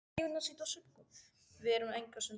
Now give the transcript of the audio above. Við erum enga stund að því.